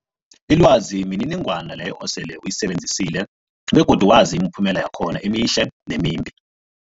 Ilwazi mniningwana leyo osele uyisebenzisile begodu wazi imiphumela yakhona emihle nemimbi.